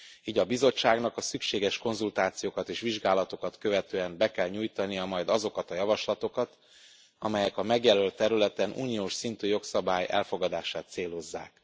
Így a Bizottságnak a szükséges konzultációkat és vizsgálatokat követően be kell nyújtania majd azokat a javaslatokat, amelyek a megjelölt területen uniós szintű jogszabály elfogadását célozzák.